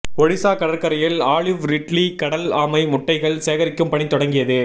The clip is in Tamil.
ஒடிசா கடற்கரையில் ஆலிவ் ரிட்லி கடல் ஆமை முட்டைகள் சேகரிக்கும் பணி தொடங்கியது